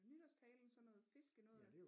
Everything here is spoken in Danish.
Nytårstalen sådan noget fiske noget